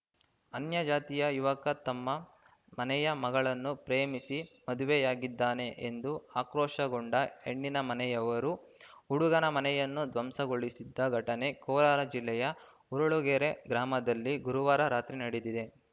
ಅನ್ಯ ಜಾತಿಯ ಯುವಕ ತಮ್ಮ ಮನೆಯ ಮಗಳನ್ನು ಪ್ರೇಮಿಸಿ ಮದುವೆಯಾಗಿದ್ದಾನೆ ಎಂದು ಆಕ್ರೋಶಗೊಂಡ ಹೆಣ್ಣಿನ ಮನೆಯವರು ಹುಡುಗನ ಮನೆಯನ್ನು ಧ್ವಂಸಗೊಳಿಸಿದ ಘಟನೆ ಕೋಲಾರ ಜಿಲ್ಲೆಯ ಹುರಳಗೆರೆ ಗ್ರಾಮದಲ್ಲಿ ಗುರುವಾರ ರಾತ್ರಿ ನಡೆದಿದೆ